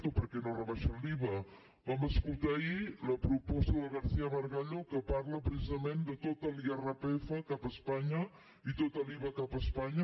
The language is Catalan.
o per què no rebaixen l’iva vam escoltar ahir la proposta del garcía margallo que parla precisament de tot l’irpf cap a espanya i tot l’iva cap a espanya